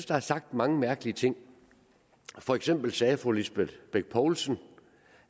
der er sagt mange mærkelige ting for eksempel sagde fru lisbeth bech poulsen